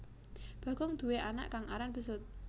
Bagong duwé anak kang aran besut